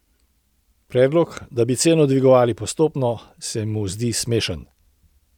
Predlog, da bi ceno dvigovali postopno, se mu zdi smešen.